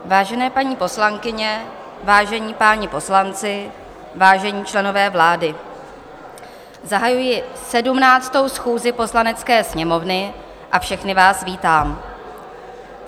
Vážené paní poslankyně, vážení páni poslanci, vážení členové vlády, zahajuji 17. schůzi Poslanecké sněmovny a všechny vás vítám.